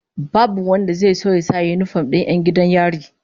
Babu wanda zai so ya sa yinifom din 'yan gidan yari